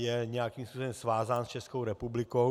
Je nějakým způsobem svázán s Českou republikou.